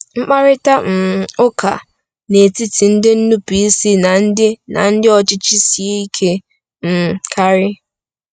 Mkparịta um ụka n’etiti ndị nnupụisi na ndị na ndị ọchịchị sie ike um karị.